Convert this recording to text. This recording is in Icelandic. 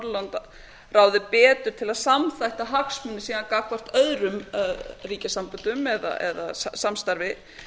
að nota norðurlandaráðið betur til að samþætta hagsmuni síðan gagnvart öðrum ríkjasamböndum eða samstarfi